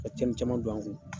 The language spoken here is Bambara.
Ka cɛnni caman don an kun.